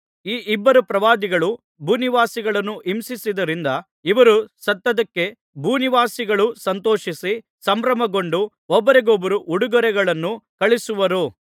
ಈ ಇಬ್ಬರು ಪ್ರವಾದಿಗಳು ಭೂನಿವಾಸಿಗಳನ್ನು ಹಿಂಸಿಸಿದ್ದರಿಂದ ಇವರು ಸತ್ತದ್ದಕ್ಕೆ ಭೂನಿವಾಸಿಗಳು ಸಂತೋಷಿಸಿ ಸಂಭ್ರಮಗೊಂಡು ಒಬ್ಬರಿಗೊಬ್ಬರು ಉಡುಗೊರೆಗಳನ್ನು ಕಳುಹಿಸುವರು